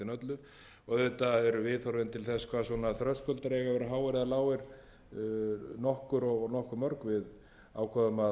háir eða lágir nokkur og nokkuð mörg við ákváðum að sammælast um þetta